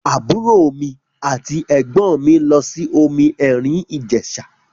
Àbúrò mi àti ẹ̀gbọ́n mi lọ sí omi èrìn Ìjẹ̀ṣà.